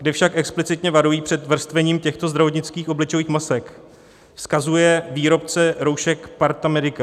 , kde však explicitně varují před vrstvením těchto zdravotnických obličejových masek, vzkazuje výrobce roušek PARTA Medica.